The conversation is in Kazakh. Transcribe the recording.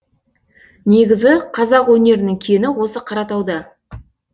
негізі қазақ өнерінің кені осы қаратауда